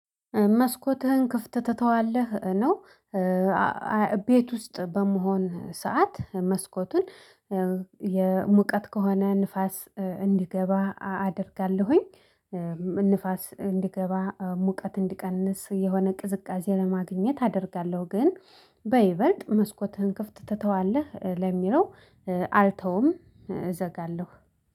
መስኮትህን ክፍት ትተዋለህ ነው? ቤት ውስጥ በመሆን ሰዓት መስኮትን የሙቀት ከሆነ ንፋስ እንዲገባ አደርጋለሁኝ። ንፋስ እንዲገባ ሙቀት እንዲቀንስ የሆነ ቅዝቃዜ ለማግኘት አደርጋለሁ። ግን በይበልጥ መስኮትህን ክፍት ትተዋለህ ለሚለው አልተውም እዘጋለሁ።